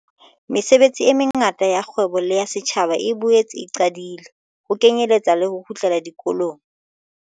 Mesebetsi e mengata ya kgwebo le ya setjhaba e boetse e qadile, ho kenyeletswa le ho kgutlela dikolong.